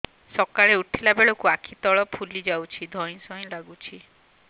ସକାଳେ ଉଠିଲା ବେଳକୁ ଆଖି ତଳ ଫୁଲି ଯାଉଛି ଧଇଁ ସଇଁ ଲାଗୁଚି